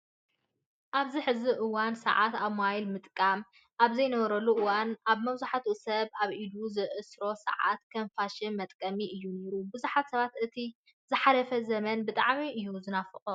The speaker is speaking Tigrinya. ኣብዚ ሕዚ እዋን ሰዓት ኣብ ሞባይል ምጥቃም ኣብ ዘይነበረሉ እዋን ኣብ መብዛህቲኡ ሰብ ኣብ ኢድ ዝእሰሩ ሰዓታት ከም ፋሽንን መጥቀምን እዮም ነይሮም። ብዙሓት ሰባት እቲ ዝሓለፈ ዘመን ብጣዕሚ እዮም ዝናፍቅዎ።